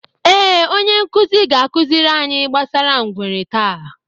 Ee, Onye nkuzi ga-akụziri anyị gbasara ngwere taa.